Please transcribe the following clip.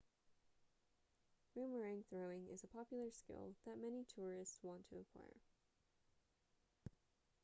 boomerang throwing is a popular skill that many tourists want to acquire